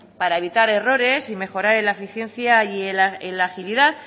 para evitar errores y mejorar en la eficiencia y en la agilidad